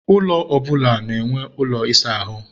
ụlọ ọbụla na-enwe ụlọ ịsa ahụ